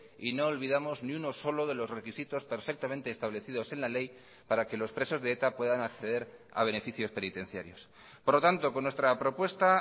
y no olvidamos ni uno solo de los requisitos perfectamente establecidos en la ley para que los presos de eta puedan acceder a beneficios penitenciarios por lo tanto con nuestra propuesta